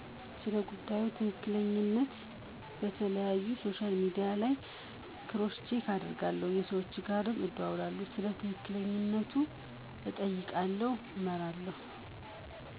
ስለጉዳዩ ትክክለኛነት በተለያዩ ሶሻል ሚዲያዎች ላይ ክሮስ ቼክ አደርጋለሁ። ከሰዎች ጋርም በመደዋወል ስለ ትክክለኛነቱ እጠይቃለሁ አመራለሁ።